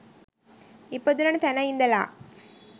ඉපදුණ තැන ඉඳලා